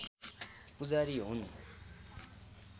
पूजारी हुन्